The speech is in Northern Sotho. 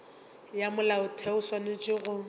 ya molaotheo o swanetše go